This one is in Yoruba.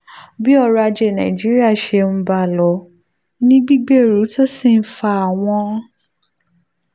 bí ọrọ̀ ajé nàìjíríà ṣe ń bá a lọ ní gbígbèrú tó sì ń fa àwọn